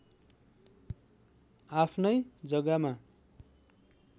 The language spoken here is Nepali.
आफ्नै जग्गामा